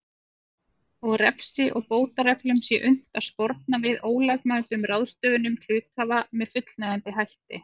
og refsi og bótareglum sé unnt að sporna við ólögmætum ráðstöfunum hluthafa með fullnægjandi hætti.